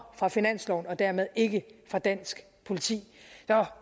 fra finansloven og dermed ikke fra dansk politi så